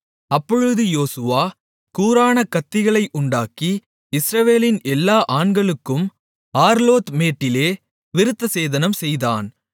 அப்பொழுது யோசுவா கூரான கத்திகளை உண்டாக்கி இஸ்ரவேலின் எல்லா ஆண்களுக்கும் ஆர்லோத் மேட்டிலே விருத்தசேதனம்செய்தான்